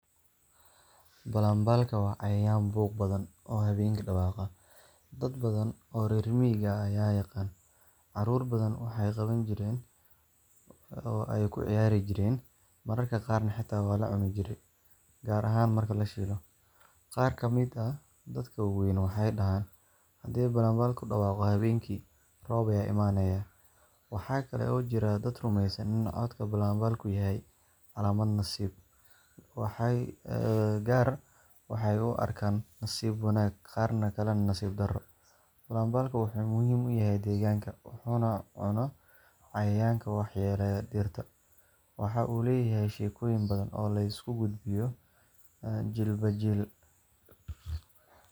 Balanbaalka waa cayayaan buuq badan oo habeenkii dhawaaqa. Dad badan oo reer miyiga ah ayaa yaqaan. Carruur badan waxay qaban jireen oo ay ku ciyaari jireen, mararka qaarna xitaa waa la cuni jiray, gaar ahaan marka la shiilo. Qaar ka mid ah dadka waaweyn waxay dhahaan, haddii balanbaalku dhawaaqo habeenkii, roob ayaa imanaya. Waxaa kale oo jira dad rumeysan in codka balanbaalku yahay calaamad nasiib – qaar waxay u arkaan nasiib wanaag, qaar kalena nasiib darro. Balanbaalku wuxuu muhiim u yahay deegaanka, wuxuuna cuno cayayaanka wax yeeleeya dhirta. Waxa uu leeyahay sheekooyin badan oo la isku gudbiyo jiilba jiil.